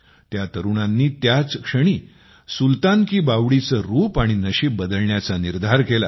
त्या तरुणांनी त्याच क्षणी सुलतान की बावडीचे रूप आणि नशीब बदलण्याचा निर्धार केला